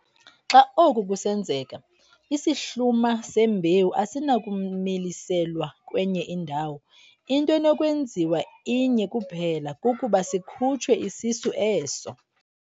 Xa oku kusenzeka, isihluma sembewu asinakumiliselwa kwenye indawo, into enokwenziwa inye kuphela kukuba sikhutshwe isisu eso.